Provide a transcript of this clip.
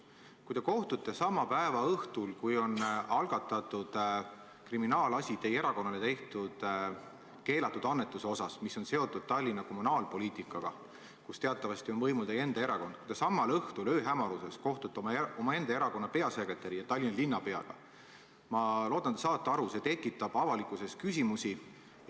Kui te sama päeva õhtul, kui on algatatud kriminaalasi seoses teie erakonnale tehtud keelatud annetusega, mis on seotud kommunaalpoliitikaga Tallinnas, kus teatavasti on võimul teie enda erakond, ööhämaruses kohtute omaenda erakonna peasekretäri ja Tallinna linnapeaga, siis loodetavasti te saate aru, et see tekitab avalikkuses küsimusi.